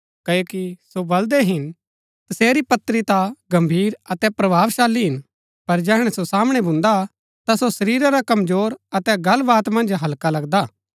क्ओकि सो बलदै हिन तसेरी पत्री ता गम्भीर अतै प्रभावशाली हिन पर जैहणै सो सामणै भून्दा ता सो शरीरा रा कमजोर अतै गल्ल वात मन्ज हल्का लगदा